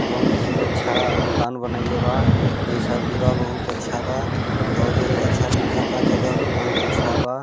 बहुत ही अच्छा दुकान बनाई ले बा जैसा भी बा बहुत अच्छा बा और अच्छा दिखत था जगह भी बहुत अच्छा बा--